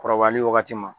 Kɔrɔbayali wagati ma